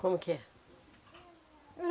Como que é?